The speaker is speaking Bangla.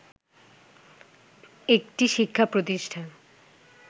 একটি শিক্ষা প্রতিষ্ঠান